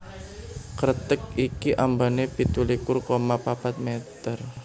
Kreteg iki ambané pitu likur koma papat meter